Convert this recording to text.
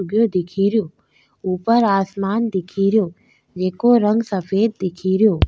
उगे दिखेरी ऊपर आसमान दिखेरिजेको रंग सफ़ेद दिखेरो।